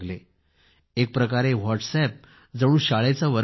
एक प्रकारे व्हाट्सअप जणू शाळेचा वर्ग बनला